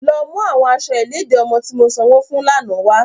Lọ mu awọn aṣọ iledi ọmọ ti mo sanwo fun lana wa!